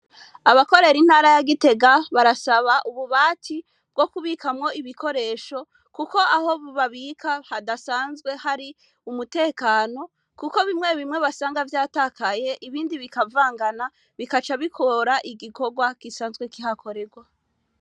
Abakorera intara ya Gitega barasaba ububati bwo kubikamwo ibikoresho. Kuko aho babika hadasanzwe hari umutekano, kuko bimwe bimwe basanga vyatakaye, ibindi bikavangana, bigaca bigora igikorwa gisanzwe kihakorerwa.